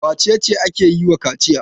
Wace ce ake yi wa kaciya?